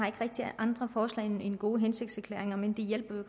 ikke rigtig andre forslag end gode hensigtserklæringer men de hjælper jo